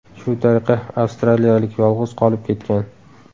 Shu tariqa avstraliyalik yolg‘iz qolib ketgan.